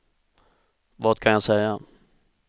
vad kan jag säga